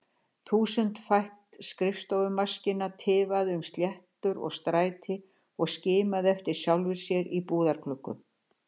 Þúsundfætt skrifstofumaskína tifaði um stéttar og stræti og skimaði eftir sjálfri sér í búðargluggum.